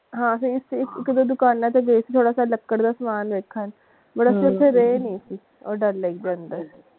ਹਾਂ ਇਕ ਤੇ ਦੁਕਾਨਾਂ ਵਿਚ ਲੱਕੜ ਦਾ ਸਮਾਨ ਵੇਖਣ ਪਰ ਅਸੀਂ ਓਥੇ ਰਹੇ ਨਹੀਂ ਉਹ ਡੱਲ ਲੇਕ ਦੇ ਅੰਦਰ।